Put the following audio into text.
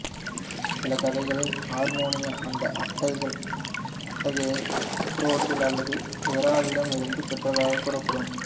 சில கதைகளில் ஆர்மோனியா அந்த அட்டிகையை அப்ரோடிட் அல்லது எராவிடம் இருந்து பெற்றதாகவும் கூறப்படுகிறது